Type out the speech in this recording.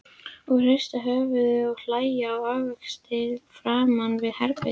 Og hrista höfuðið og hlæja á víxl framan við herbergið.